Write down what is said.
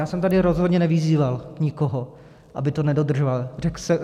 Já jsem tady rozhodně nevyzýval nikoho, aby to nedodržoval.